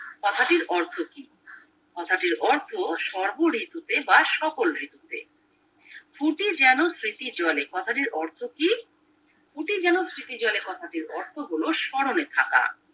কথাটির অর্থ কি কথাটির অর্থ সর্ব ঋতুতে বা সকল ঋতুতে প্রতি যেন স্মৃতি জলে কথাটির অর্থ কি প্রতি যেন স্মৃতি জলে কথাটির অর্থ হলো স্বেরণে থাকা